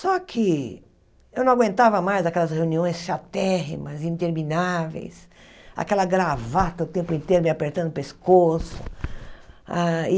Só que eu não aguentava mais aquelas reuniões chatérrimas, intermináveis, aquela gravata o tempo inteiro me apertando o pescoço.